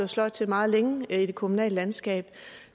sløjt til meget længe i det kommunale landskab